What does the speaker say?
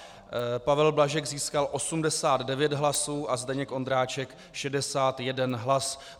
Pavel Blažek získal 89 hlasů a Zdeněk Ondráček 61 hlas.